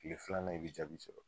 Kile filanan i bi jaabi sɔrɔ